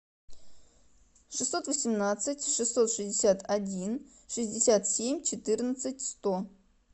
шестьсот восемнадцать шестьсот шестьдесят один шестьдесят семь четырнадцать сто